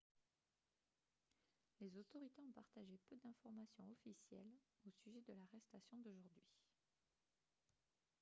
les autorités ont partagé peu d'informations officielles au sujet de l'arrestation d'aujourd'hui